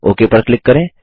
okay पर क्लिक करें